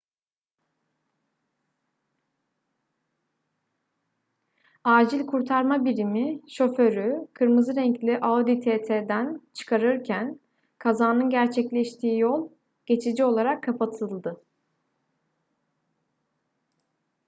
acil kurtarma birimi şoförü kırmızı renkli audi tt'den çıkarırken kazanın gerçekleştiği yol geçici olarak kapatıldı